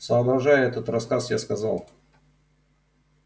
соображая этот рассказ я сказал